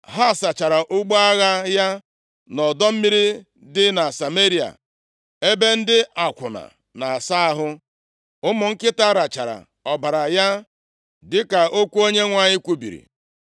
Ha sachara ụgbọ agha ya nʼọdọ mmiri dị na Sameria (ebe ndị akwụna na-asa ahụ). Ụmụ nkịta rachara ọbara ya, dịka okwu Onyenwe anyị kwubiri. + 22:38 \+xt 1Ez 21:19\+xt*